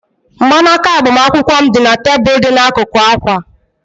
Mgbanaka agbamakwụkwọ m dị na tebụl dị n'akụkụ akwa